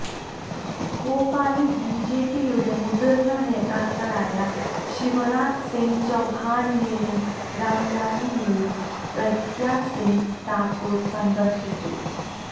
ഭോപ്പാലില് ബിജെപിയുടെ മുതിര്ന്ന നേതാക്കളായ ശിവരാജ് സിംഗ് ചൌഹാനെയും രാംലാലിനെയും പ്രഗ്യാ സിംഗ് താക്കൂര് സന്ദര്ശിച്ചു